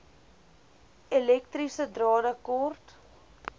elektriese drade kort